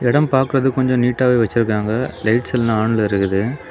இடம் பாக்குறது கொஞ்சம் நீட்டாவே வச்சிருக்காங்க லைட்ஸ் எல்லாம் ஆன்ல இருக்குது.